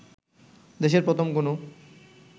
দেশের প্রথম কোনো